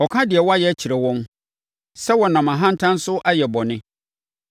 ɔka deɛ wɔayɛ kyerɛ wɔn sɛ wɔnam ahantan so ayɛ bɔne.